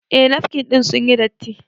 Eh nafkin ɗin sun yi datti